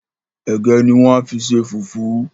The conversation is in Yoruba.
Ẹ̀gẹ́ ni wọ́n á fi ṣe fùfú